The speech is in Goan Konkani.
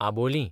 आबोलीं